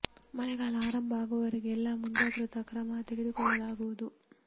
ಮಳೆ ಗಾಲ ಆರಂಭ ಆಗುವವರೆಗೆ ಎಲ್ಲ ಮುಂಜಾಗ್ರತಾ ಕ್ರಮ ತೆಗೆದುಕೊಳ್ಳಲಾಗು ವುದು